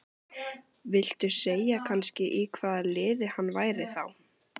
Viltu segja kannski í hvaða liði hann væri þá?